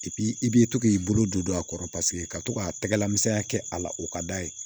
i b'i to k'i bolo don a kɔrɔ paseke ka to ka tɛgɛla misɛnya kɛ a la o ka d'a ye